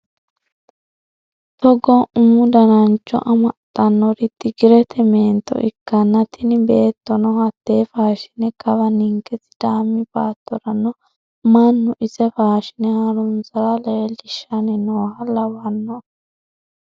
Togo umu danancho amaxanori tigirete meento ikkanna tini beettono hate faashine kawa ninke sidaami baattorano mannu ise faashine harunsara leellishanni nooha lawano.